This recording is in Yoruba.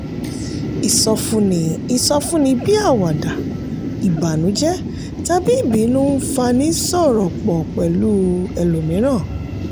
ìsọfúnni ìsọfúnni bíi àwàdà ìbànújẹ́ tàbí ìbínú ń fani sọ̀rọ̀ pọ̀ pẹ̀lú ẹlòmíràn.